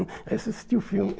Aí você assistia o filme.